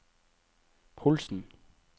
Holsen